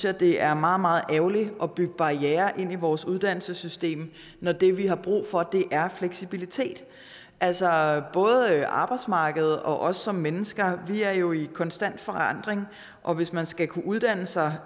at det er meget meget ærgerligt at bygge barrierer ind i vores uddannelsessystem når det vi har brug for er fleksibilitet altså både arbejdsmarkedet og os som mennesker er jo i konstant forandring og hvis man skal kunne uddanne sig